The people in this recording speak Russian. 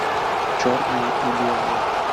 черное и белое